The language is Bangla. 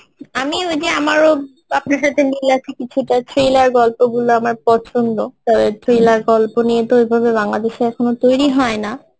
আমি ওই যে আমারও আপনার সাথে মিল আছে কিছুটা thriller গল্পগুলো আমার পছন্দ thriller গল্প নিয়ে তো এভাবে বাংলাদেশে এখনো তৈরি হয় না